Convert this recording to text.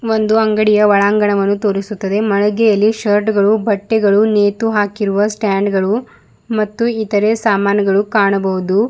ಒಂದು ಅಂಗಡಿಯ ಒಳಾಂಗಣವನ್ನು ತೋರಿಸುತ್ತದೆ ಮಳಿಗೆಯಲ್ಲಿ ಶರ್ಟ್ಗಳು ಬಟ್ಟೆಗಳು ನೇತು ಹಾಕಿರುವ ಸ್ಟ್ಯಾಂಡ್ ಗಳು ಮತ್ತು ಇತರೆ ಸಾಮಾನುಗಳು ಕಾಣಬಹುದು.